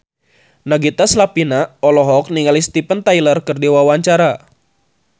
Nagita Slavina olohok ningali Steven Tyler keur diwawancara